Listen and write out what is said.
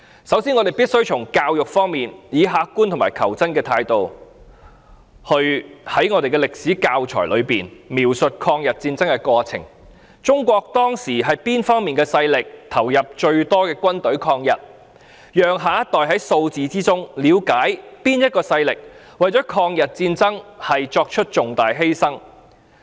首先，在教育方面，我們必須以客觀和求真的態度，在歷史教材中描述在抗日戰爭中，中國當時哪方面的勢力投入最多的軍隊抗日，讓下一代在數字中了解哪個勢力為了抗日戰爭作出重大犧牲。